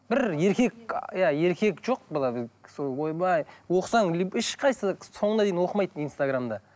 бір еркек иә еркек жоқ ойбай оқысаң ешқайсысы соңына дейін оқымайды инстаграмда